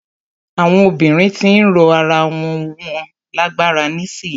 Àwọn obìnrin ti ń ró ara wọn lágbára nísìyí.